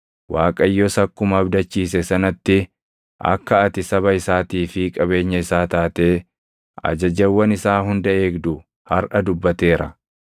Waaqayyos akkuma abdachiise sanatti akka ati saba isaatii fi qabeenya isaa taatee ajajawwan isaa hunda eegdu harʼa dubbateera.